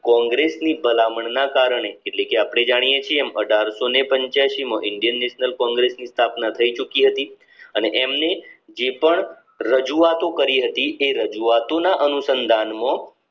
કોંગ્રેસ ની ભલામણ ના કારણે એટલે કે અપને જાણીયે છીએ એમ અઢારસો ને પંચ્યાસી માં indian national કોન્ગ્રેસ્સ ની સ્થાપના થઈ ચુકી હતી અને એમની જે પણ રજૂઆતો કરી હતી તે રજૂઆતોના અનુસંધાન માં